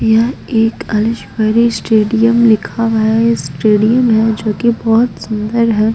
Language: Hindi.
यह एक अंशवरी स्टेडियम लिखा हुआ हैं स्टेडियम हैं जो कि बहुत सुंदर हैं।